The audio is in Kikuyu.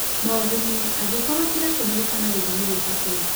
moguni angĩkorwo ciratũmĩka na gĩthimi gĩbatie.